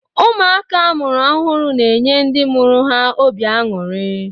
Ụmụaka amụrụ ọhụrụ na-enye ndị mụrụ ha obi añuri